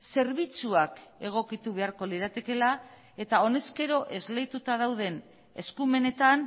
zerbitzuak egokitu beharko liratekeela eta honezkero esleituta dauden eskumenetan